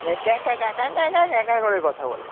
ক্যা ক্যা ক্যা ক্যা, ক্যা ক্যা ক্যা ক্যা করে কথা বলে।